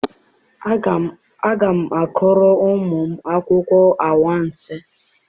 Aga m akọrọ ụmụ m akụkọ anwansi.